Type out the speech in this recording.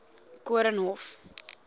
koornhof